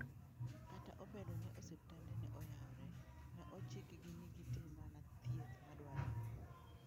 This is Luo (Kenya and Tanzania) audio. Kata obedo ni osiptande ne oyawore, ne ochikgi ni gitim mana thieth madwarore.